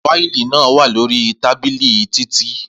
Fáìlì naa wa lori tábìlì Titi.